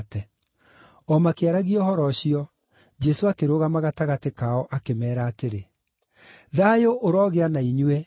O makĩaragia ũhoro ũcio, Jesũ akĩrũgama gatagatĩ kao akĩmeera atĩrĩ, “Thayũ ũrogĩa na inyuĩ.”